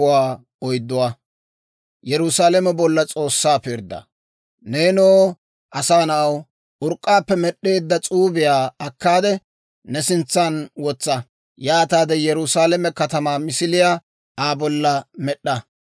«Neenoo asaa na'aw, urk'k'aappe med'd'eedda S'uubiyaa akkaade, ne sintsan wotsa; yaataade Yerusaalame katamaa misiliyaa Aa bolla med'd'a.